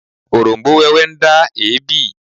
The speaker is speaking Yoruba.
Oróm̀bó wẹ́wẹ́ ń dá èébì